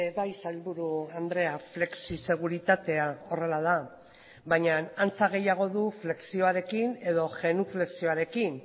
bai sailburu andrea flexiseguritatea horrela da baina antza gehiago du flexioarekin edo genuflexioarekin